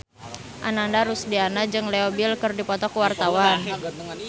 Ananda Rusdiana jeung Leo Bill keur dipoto ku wartawan